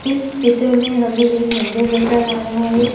इस चित्र में हमें एक मंदिर नजर आ रहा है।